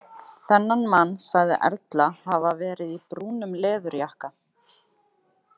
Þennan mann sagði Erla hafa verið í brúnum leðurjakka.